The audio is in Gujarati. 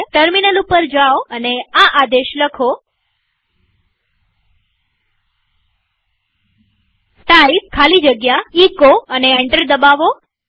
ટર્મિનલ ઉપર જાઓ અને આ આદેશ લખો ટાઇપ ખાલી જગ્યા એચો અને એન્ટર દબાવો